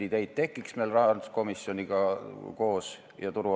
Kas nad peavad selle trahvi ja mainekahju siis vastu võtma?